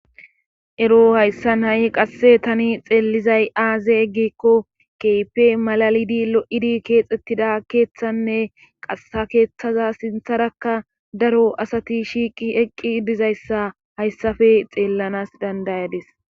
ero hayssan ha7i qasse tani xeellizay aaze gikko keype malalidi lo7idi keexettida keeththanne qasa keeththaza sintharakka daro asati shiiqi eqqi dizayssa hayssafe xeellanas dandayadis